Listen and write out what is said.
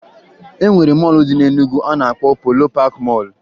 E nwere mọọlụ dị na Enugwu a na-akpọ Polo Paakị Mọọlụ